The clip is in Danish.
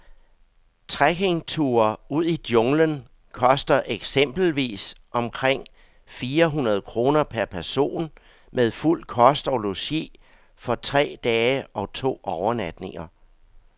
Trekkingture ud i junglen koster eksempelvis omkring fire hundrede kroner per person med fuld kost og logi for tre dage og to overnatninger.